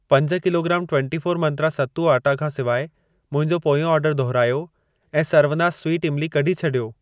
पंज kilogram twenty four Mantra सत्तू आटा खां सिवाइ मुंहिंजो पोयों ऑर्डर दुहिरायो ऐं सर्वनास स्वीट इमली कढी छॾियो।